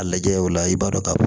A lajɛ o la i b'a dɔn ka fɔ